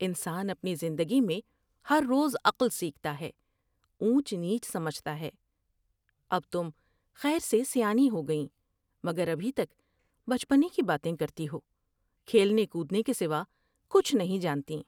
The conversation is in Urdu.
انسان اپنی زندگی میں ہر روز عقل سیکھتا ہے ، اونچ نیچ سمجھتا ہے ، اب تم خیر سے سیانی ہوگئیں مگر ابھی تک بچپنے کی باتیں کرتی ہو ، کھیلنے کودنے کے سوا کچھ نہیں جانتیں ''